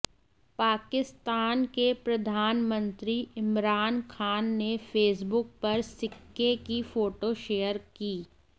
पाकिस्तान के प्रधानमंत्री इमरान खान ने फेसबुक पर सिक्के की फोटो शेयर की